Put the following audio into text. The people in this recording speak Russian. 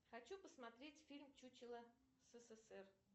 хочу посмотреть фильм чучело ссср